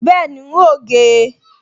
Bẹ́ẹ̀ni, n óò gé e